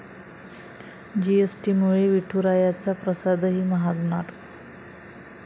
जीएसटीमुळे विठुरायाचा प्रसादही महागणार